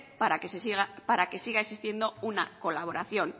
para que siga existiendo una colaboración